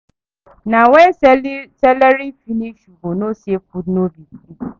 Na when salary finish you go know say food no be for free.